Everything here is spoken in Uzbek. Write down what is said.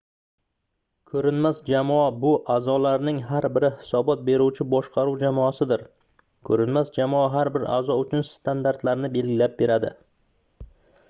"ko'rinmas jamoa — bu a'zolarning har biri hisobot beruvchi boshqaruv jamoasidir. ko'rinmas jamoa har bir a'zo uchun standartlarni belgilab beradi